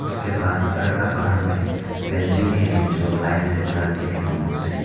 के बाद घर का बाहर में फेंसिंग भी है जो लाइन से बना के बंबू से।